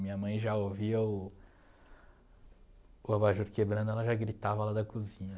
Minha mãe já ouvia o o abajur quebrando, ela já gritava lá da cozinha.